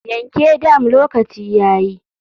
Yanke dam lokaci yayi.